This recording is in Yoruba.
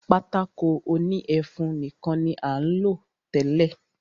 Pátákó òní ẹfun nìkan ní à ń lò tẹ́lẹ̀.